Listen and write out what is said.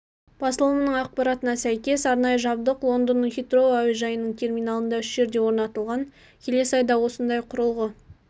басылымының ақпаратына сәйкес арнайы жабдық лондондық хитроу әуежайының терминалында үш жерде орнатылған келесі айда осындай құрылғы